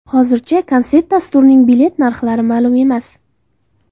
Hozircha konsert dasturining bilet narxlari ma’lum emas.